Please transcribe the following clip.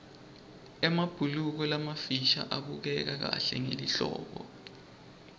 emabhuluko lamafisha abukeka kahle ngelihlobo